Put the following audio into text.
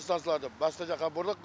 станцияларды басқа жаққа бұрдық